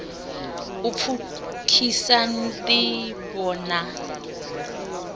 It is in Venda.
u pfukhisa nd ivho na